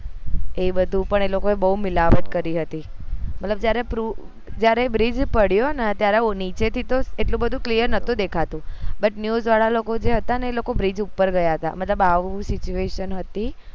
એ બધું પણ એ લોકો એ મિલાવત કરી હતી મતલબ જયારે proof જયારે bridge પડ્યું ને ત્યારે નીચે થી એટલું બધું clear નોતું દેખાતું butnews વાળા લોકો જે હતા ને ઈ લોકો bridge ઉપર ગયા હતા મતલબ આવું situation હતી